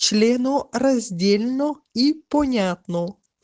членораздельно и понятно